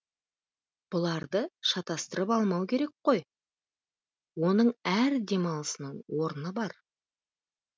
бұларды шатастырып алмау керек қой оның әр демалысының орны бар